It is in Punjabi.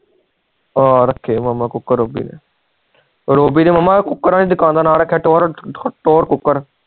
ਹਾਂ ਰਾਖੇ ਆ ਕੂਕਰ ਰੋਬੀ ਨੇ ਰੋਬੀ ਨੇ ਮਾਮਾ ਕੂਕਰ ਵਾਲੇ ਦੁਕਾਨ ਦਾ ਨਾਮ ਰਖਿਆ ਟੋਯੂਰ ਕੂਕਰ